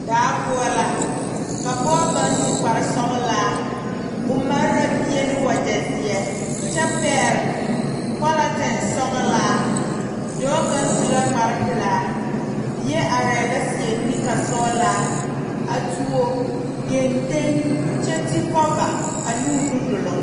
Daa poɔ la ka pɔge kaŋ su kparesɔglaa o mare la bie ne wagyɛ zeɛ kyɛ pɛgle pɔlɔtin sɔglaa dɔɔ kaŋ su la kparepelaa bie arɛɛ la seɛ nika sɔglaa a tuo geŋteŋ kyɛ ti kɔva a noo nu duluŋ.